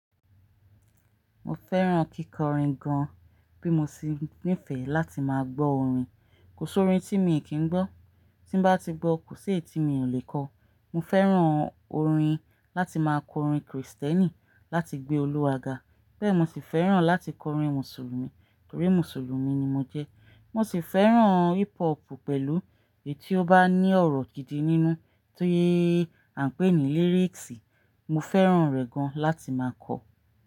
Mo fẹ́ràn kíkọrin gan, bí mo ṣe nífẹ̀ẹ́ láti máa gbọ́ orin. Kò sí orin tí mi kì í gbọ́, tí n bá ti gbọ́ kò sí èyí tí mi ò lè kọ. Mo fẹ́ràn orin láti máa kọ orin Krìstẹ́nì láti gbé Olúwa ga, bẹ́ẹ̀ mo sì fẹ́ràn láti kọ orin Mùsùlùmí torí Mùsùlùmí ni mo jẹ́. Mo sì fẹ́ràn hip hop pẹ̀lú èyí tí ó bá ní ọ̀rọ̀ gidi nínú tí à ń pè ní lyrics. Mo fẹ́ràn rẹ̀ gan láti máa kọ.